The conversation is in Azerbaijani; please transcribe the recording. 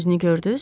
Üzünü gördüz?